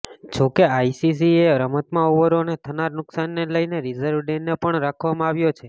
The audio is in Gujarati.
જોકે આઇસીસીએ રમતમાં ઓવરોને થનારા નુકશાનને લઇને રિઝર્વ ડે ને પણ રાખવામા આવ્યો છે